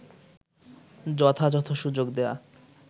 যথাযথ সুযোগ দেয়া